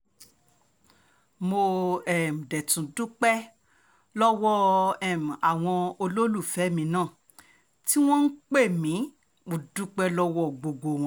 mo um dé tún dúpẹ́ lọ́wọ́ um àwọn olólùfẹ́ mi náà tí wọ́n ń pè mí mo dúpẹ́ lọ́wọ́ gbogbo wọn